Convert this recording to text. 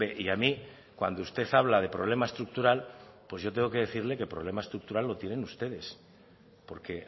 y a mí cuando usted habla de problema estructural pues yo tengo que decirle que problema estructural lo tienen ustedes porque